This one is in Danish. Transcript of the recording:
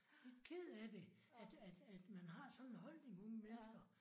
Lidt ked af det. At at at man har sådan en holdning unge mennesker